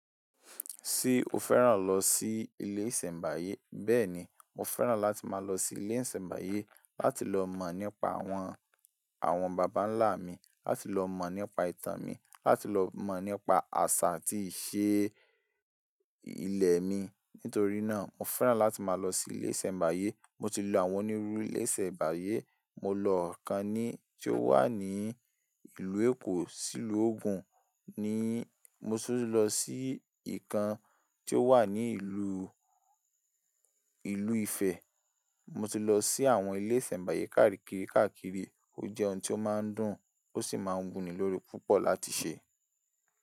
Tí o fẹ́ràn lọ sí ilé ìṣẹ̀mbáyé? Bẹ́ẹ̀ni, mo fẹ́ràn láti máa lọ sí ilé ìṣẹ̀mbáyé láti lọ mọ̀ nípa àwọn, àwọn bàbá ńlá mi, láti lọ mọ̀ nípa ìtàn mi, láti lọ mọ̀ nípa àṣà atí í ṣe ilẹ̀ mi. Nítorí náà, mo fẹ́ràn láti máa lọ sí ilé ìsẹ̀mbáyé. Mo ti lọ àwọn onírúurú ilé ìsẹ̀mbáyé. Mo lọ ọ̀kan ní, tí ó wà ní ìlú Èkó, sìlú Ògùn ni. Mo sì lọ sí ìkan tí ó wà ní ìlú, ìlú Ifẹ̀. Mo ti lọ sí àwọn ilé ìsẹ̀mbáyé káàkiri káàkiri. Ó jẹ́ ohun tí ó máa ń dùn, ó sì máa ń wù ní lórí púpọ̀ láti ṣe.